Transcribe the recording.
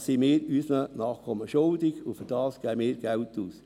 Dies sind wir unseren Nachkommen schuldig, und dafür geben wir Geld aus.